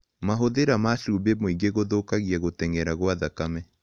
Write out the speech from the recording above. Mahũthĩra ma chũmbĩ mũĩngĩ gũthũkagĩa gũtengera gwa thakame